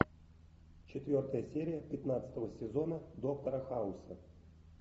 четвертая серия пятнадцатого сезона доктора хауса